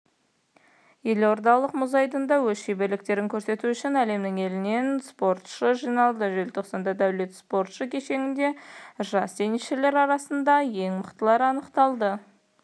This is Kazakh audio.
елордалық мұз айдынында өз шеберліктерін көрсету үшін әлемнің елінен спортшы жиналды желтоқсанда дәулет спорт кешенінде жас теннисшілер арасында ең мықтылар анықталады